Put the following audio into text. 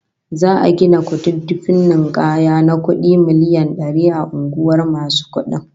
Za'a gina kududdufin ninkaya na kudi miliyan dari a unguwar masu kudin